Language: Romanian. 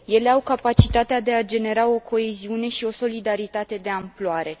Ele au capacitatea de a genera o coeziune și o solidaritate de amploare.